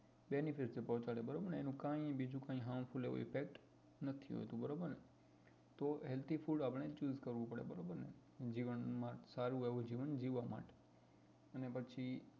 benefit પોચડે બરોબર ને એનું કઈ બીજું કઈ harmful effect નથી હોતું બરોબર ને તો healthy food આપણે choose કરવું પડે બરોબર ને જીવન માં સારું એવું જીવન જીવવા માટે